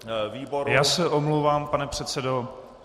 Já se omlouvám, pane předsedo.